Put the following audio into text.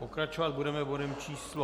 Pokračovat budeme bodem číslo